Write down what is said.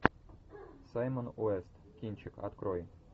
саймон уэст кинчик открой